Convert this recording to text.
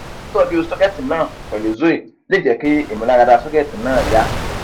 titoju socket na pelu zoe le je ki imularada socket na ya